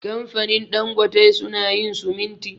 Kamfanin Dangote su na yin siminti